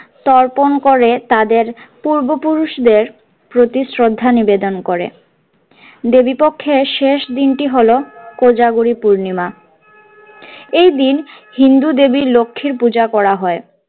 তর্পণ করে তাদের পূর্ব পুরুষদের প্রতি শ্রদ্ধা নিবেদন করে দেবীপক্ষের শেষ দিনটি হলো কোজাগরী পূর্ণিমা এই দিন হিন্দু দেবী লক্ষ্মীর পূজা করা হয়।